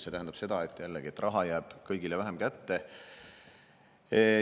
See tähendab seda, jällegi, et raha jääb kõigile vähem kätte.